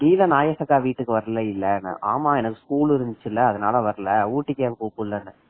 நீதான் நாகேஷ் அக்கா வீட்டுக்கு வரவே இல்ல வரல இல்ல ஆமா எனக்கு school இருந்துச்சில்ல அதனால வரல ஊட்டிக்கு ஏன் கூப்பிடல அப்படின்னா